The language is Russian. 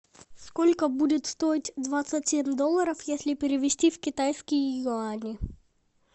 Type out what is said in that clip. сколько будет стоить двадцать семь долларов если перевести в китайские юани